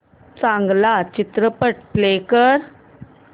चांगला चित्रपट प्ले कर